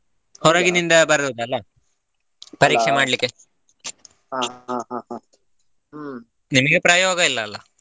ಹೊರಗಿನಿಂದ ಬರುದಲ್ಲ ಪರೀಕ್ಷೆ ಮಾಡಲಿಕ್ಕೆ ನಿಮ್ಗೆ ಪ್ರಯೋಗ ಇಲ್ಲಾ ಅಲ್ಲಾ.